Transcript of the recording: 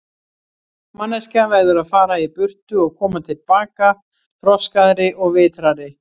Manneskjan verður að fara í burtu og koma til baka, þroskaðri og vitrari.